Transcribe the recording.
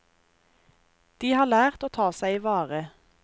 De har lært å ta seg i vare.